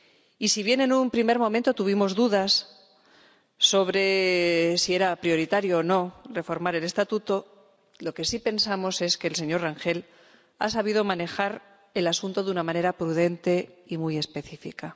Y, si bien en un primer momento tuvimos dudas sobre si era prioritario o no reformar el Estatuto, lo que sí pensamos es que el señor Rangel ha sabido manejar el asunto de una manera prudente y muy específica.